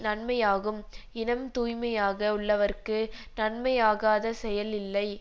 நன்மையாகும் இனம் தூய்மையாக உள்ளவர்க்கு நன்மையாகாத செயல் இல்லை